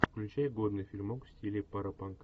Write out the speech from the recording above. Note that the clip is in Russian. включай годный фильмок в стиле паропанк